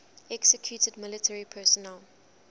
executed military personnel